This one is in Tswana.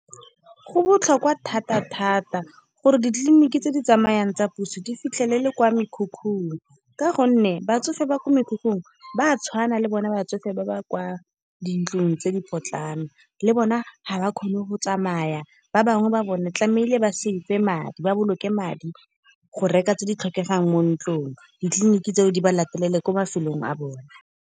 Go botlhokwa thata thata gore ditleliniki tse di tsamayang tsa puso di fitlhelele kwa mekhukhun. Ka gonne batsofe ba kwa mekhukhung, ba tshwana le bone batsofe ba ba kwa dintlong tse di potlana. Le bona ga ba kgone go tsamaya, ba bangwe ba bone tlamehile ba boloke madi, go reka tse di tlhokegang mo ntlong. Ditleliniki tseo di ba latelele kwa mafelong a bone.